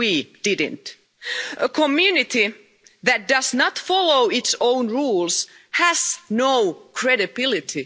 We didn't. A community that does not follow its own rules has no credibility.